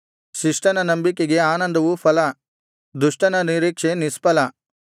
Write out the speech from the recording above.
ಶಿಷ್ಟನ ನಂಬಿಕೆಗೆ ಆನಂದವು ಫಲ ದುಷ್ಟನ ನಿರೀಕ್ಷೆ ನಿಷ್ಫಲ